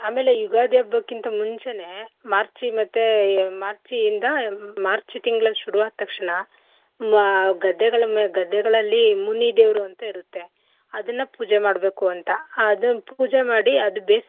ಆಮೇಲೆ ಯುಗಾದಿ ಹಬ್ಬಕಿಂತ ಮುಂಚೆನೇ March ಮತ್ತೆ March ಇಂದ March ತಿಂಗಳು ಶುರುವಾದ್ ತಕ್ಷಣ ಮಾ~ ಗದ್ದೆಗಳ್ ಮ~ ಗದ್ದೆಗಳಲ್ಲಿ ಮುನಿ ದೇವ್ರು ಅಂತ ಇರುತ್ತೆ ಅದನ್ನ ಪೂಜೆ ಮಾಡ್ಬೇಕುಂತ ಅದನ್ ಪೂಜೆ ಮಾಡಿ ಅದ್ ಬೇಸಿಗೆ.